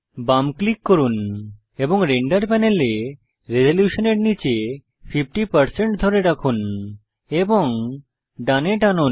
বাম ক্লিক করুন এবং রেন্ডার প্যানেলে রেজোলিউশনের নীচে 50 ধরে থাকুন এবং ডানে টানুন